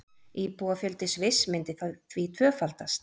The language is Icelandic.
Íbúafjöldi Sviss myndi því tvöfaldast